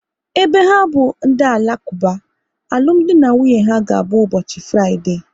Ebe ha bụ ndị Alakuba, alụmdi na nwunye ha ga abụ ụbọchị Fraịdee